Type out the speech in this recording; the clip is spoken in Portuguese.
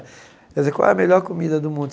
Quer dizer, qual é a melhor comida do mundo?